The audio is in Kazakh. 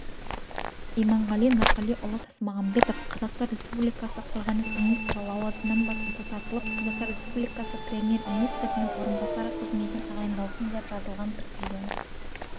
иманғали нұрғалиұлы тасмағамбетов қазақстан республикасы қорғаныс министрі лауазымынан босатылып қазақстан республикасы премьер-министрінің орынбасары қызметіне тағайындалсын деп жазылған президент